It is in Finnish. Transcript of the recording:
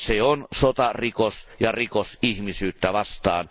Se on sotarikos ja rikos ihmisyyttä vastaan.